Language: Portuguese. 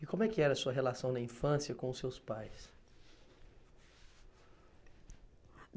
E como é que era a sua relação na infância com os seus pais?